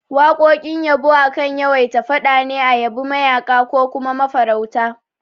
Waƙoƙin yabo akan yawaita faɗa ne a yabi mayaƙa ko kuma mafarauta